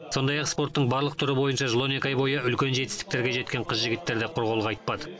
сондай ақ спорттың барлық түрі бойынша жыл он екі ай бойы үлкен жетістіктерге жеткен қыз жігіттер де құр қол қайтпады